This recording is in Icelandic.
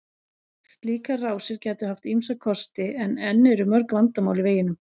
Slíkar rásir gætu haft ýmsa kosti en enn eru mörg vandamál í veginum.